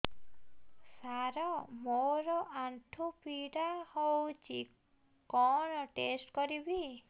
ସାର ମୋର ଆଣ୍ଠୁ ପୀଡା ହଉଚି କଣ ଟେଷ୍ଟ କରିବି